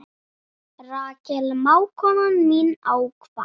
Rakel mágkona mín hefur kvatt.